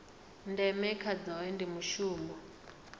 ndeme kha zwohe ndi mushumo